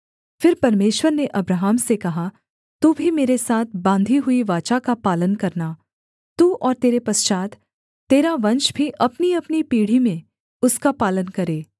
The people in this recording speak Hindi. फिर परमेश्वर ने अब्राहम से कहा तू भी मेरे साथ बाँधी हुई वाचा का पालन करना तू और तेरे पश्चात् तेरा वंश भी अपनीअपनी पीढ़ी में उसका पालन करे